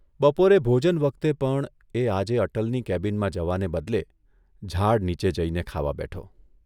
બપોરે ભોજન વખતે પણ એ આજે અટલની કેબિનમાં જવાને બદલે ઝાડ નીચે જઇને ખાવા બેઠો.